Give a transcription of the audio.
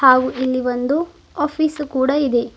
ಹಾಗೂ ಇಲ್ಲಿ ಒಂದು ಆಫೀಸ್ ಕೂಡ ಇದೆ.